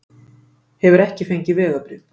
Hefur ekki fengið vegabréf